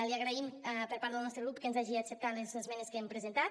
li agraïm per part del nostre grup que ens hagi acceptat les esmenes que hi hem presentat